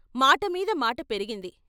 మాటమీద మాట పెరిగింది.